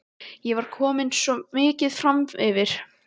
Ég var komin svo mikið framyfir.